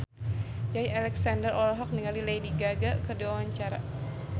Joey Alexander olohok ningali Lady Gaga keur diwawancara